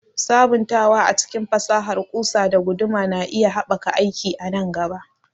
Sabuntawa a cikin fasahar ƙusa da guduma na iya haɓaka aiki a nan gaba.